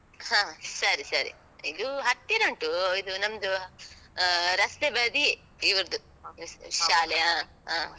ಹ. ಸರಿ, ಸರಿ. ಇದು ಹತ್ತಿರ ಉಂಟು. ಇದು ನಮ್ದು ಆ, ರಸ್ತೆ ಬದಿಯೇ ಇವ್ರ್ದು. ಸ್~ ಶಾಲೆ ಆ, ಹ.